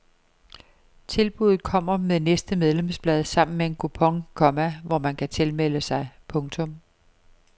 Tilbuddet kommer med næste medlemsblad sammen med en kupon, komma hvor man kan tilmelde sig. punktum